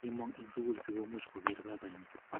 kimong eng sukul sikomuch koker babanyi